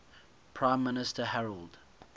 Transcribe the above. prime minister harold